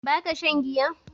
Ba ka shan giya?